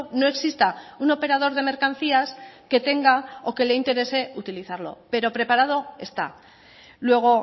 no exista un operador de mercancías que tenga o que le interese utilizarlo pero preparado está luego